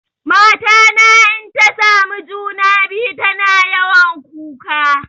Mata na inta samu juna-biyu tana yawan kuka.